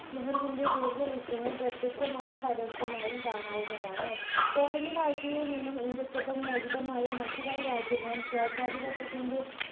നെഹ്‌റുവിന്റെ ദീർഘവീക്ഷണം പ്രത്യക്ഷമായും പരോക്ഷമായും കാണാവുന്നതാണ് colony വാഴ്ചയിൽ നിന്നും ഇന്ത്യക്കൊപ്പം മോചിതമായ മറ്റു പല രാജ്യങ്ങളും സ്വേച്ചാതിപത്ഥ്യത്തിന്റെ